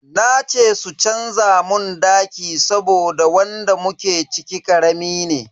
Na ce su canza mun daki saboda wanda muke ciki karami ne.